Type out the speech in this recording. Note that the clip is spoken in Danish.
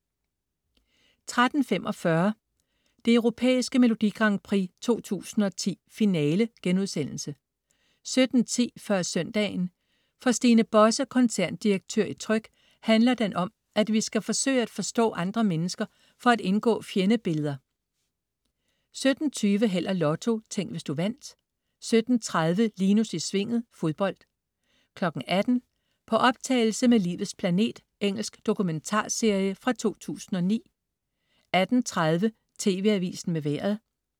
13.45 Det Europæiske Melodi Grand Prix 2010, finale* 17.10 Før søndagen. For Stine Bosse, koncerndirektør i Tryg, handler den om, at vi skal forsøge at forstå andre mennesker for at indgå fjendebilleder 17.20 Held og Lotto. Tænk, hvis du vandt 17.30 Linus i Svinget. Fodbold 18.00 På optagelse med Livets planet. Engelsk dokumentarserie fra 2009 18.30 TV Avisen med Vejret